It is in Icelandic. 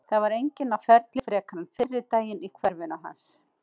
Það var enginn á ferli frekar en fyrri daginn í hverfinu hans.